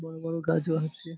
বড় বড় গাছও আছে ।